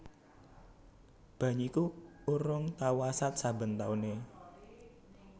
Banyu iku urung tau asat saben taune